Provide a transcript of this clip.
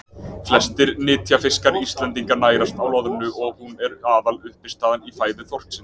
Flestir nytjafiskar Íslendinga nærast á loðnu og hún er aðaluppistaðan í fæðu þorsksins.